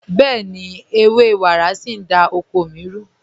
Bẹ̀ẹ̀ni, ẹwẹ́ wàrá sí n dá oko mí rù.